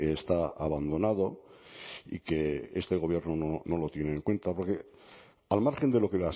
está abandonado y que este gobierno no lo tiene en cuenta porque al margen de lo que